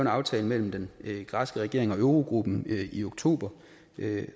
aftale mellem den græske regering og eurogruppen i oktober